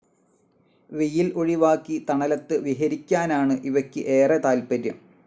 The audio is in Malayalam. വെയിൽ ഒഴിവാക്കി തണലത്ത് വിഹരിയ്ക്കാനാണ് ഇവയ്ക്ക് ഏറെ താത്പര്യം.